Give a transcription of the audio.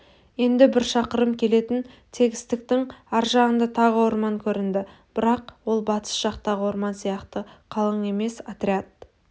енді бір шақырым келетін тегістіктің аржағында тағы орман көрінді бірақ ол батыс жақтағы орман сияқты қалың емес отряд